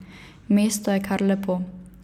Mesto je kar lepo.